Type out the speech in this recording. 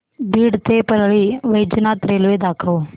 बीड ते परळी वैजनाथ रेल्वे दाखव